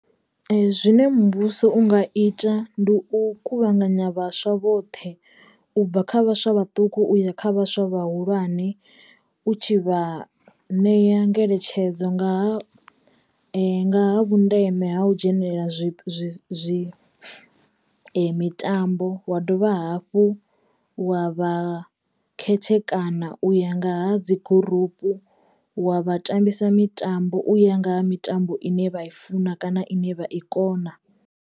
Zwine muvhuso u nga ita ndi u kuvhanganya vhaswa vhoṱhe ubva kha vhaswa vhaṱuku uya kha vhaswa vhahulwane u tshi vha ṋeya ngeletshedzo nga ha nga ha vhundeme ha u dzhenelela zwi zwi zwi mitambo wa dovha hafhu wa vha khethekana u ya nga ha dzi gurupu wa vha tambisa mitambo u ya nga ha mitambo ine vha i funa kana ine vha i kona.